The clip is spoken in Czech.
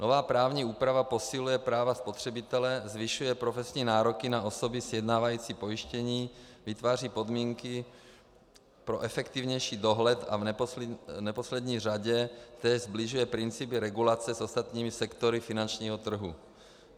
Nová právní úprava posiluje práva spotřebitele, zvyšuje profesní nároky na osoby sjednávající pojištění, vytváří podmínky pro efektivnější dohled a v neposlední řadě též sbližuje principy regulace s ostatními sektory finančního trhu.